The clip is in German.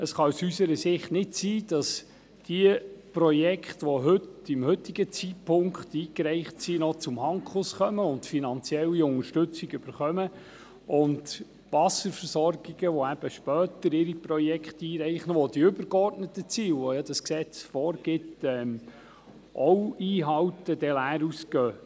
Es kann aus unserer Sicht nicht sein, dass diejenigen, welche zum heutigen Zeitpunkt ein Projekt eingereicht haben, noch zum Handkuss kommen und finanzielle Unterstützung aus dem Fonds erhalten, während Wasserversorgungen, die ihre Projekte, welche ebenfalls dem übergeordneten Ziel des WVG entsprechen, später einreichen, leer ausgehen.